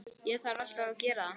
Ég þarf alltaf að gera það.